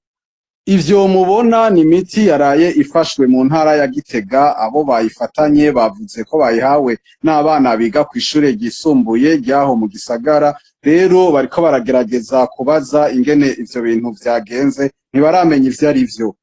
ivyo mubona n'imiti yaraye ifashwe mu ntara ya Gitega, abo bayifatanye bavuze ko bayihawe n'abana biga kw'ishure ryisumbuye ryaho mu gisagara, rero bariko baragerageza kubaza ingene ivyo bintu vyagenze ntibaramenye ivyarivyo.